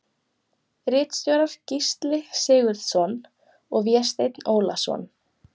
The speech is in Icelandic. Ritstjórar Gísli Sigurðsson og Vésteinn Ólason.